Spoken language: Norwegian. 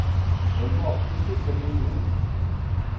Den må absolutt ikke bli brun.